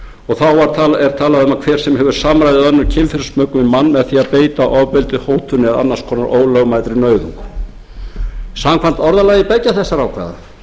og þá er talað um að hver sem hefur samræði eða önnur kynferðismök við mann með því að beita ofbeldi hótunum eða annars konar ólögmætri nauðung samkvæmt orðalagi beggja þessara ákvæða